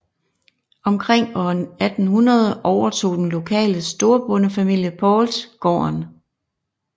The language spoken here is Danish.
Omkring år 1800 overtog den lokale storbondefamilie Pauls gården